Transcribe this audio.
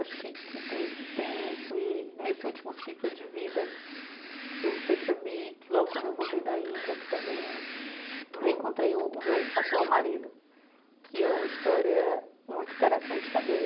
Acho que que tem tem isso e nesse último ciclo de vida que eu percebi que, logo quando eu voltei da Índia, que também encontrei o o meu atual marido, que é uma história muito interessante também.